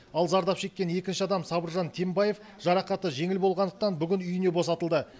ал зардап шеккен екінші адам сабыржан тембаев жарақаты жеңіл болғандықтан бүгін үйіне босатылды